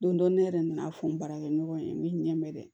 Don dɔ ne yɛrɛ nana fɔ n baarakɛ ɲɔgɔn in ye n bɛ n ɲɛ mɛn dɛ